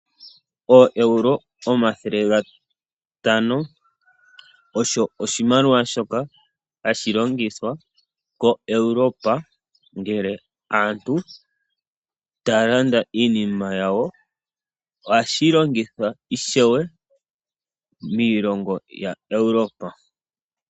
Oo EURO 500 osho oshimaliwa shoka hashi longithwa ko Europe ngele aantu taya landa iinima yawo. Ohashi longithwa ishewe miilongo ya Europe.